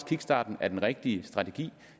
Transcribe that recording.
kickstarten er den rigtige strategi